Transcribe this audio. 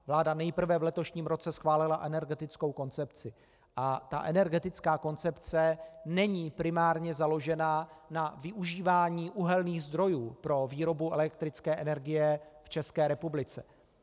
Vláda nejprve v letošním roce schválila energetickou koncepci a ta energetická koncepce není primárně založená na využívání uhelných zdrojů pro výrobu elektrické energie v České republice.